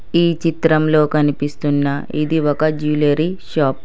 ఈ చిత్రంలో కనిపిస్తున్న ఇది ఒక జూలరీ షాప్ .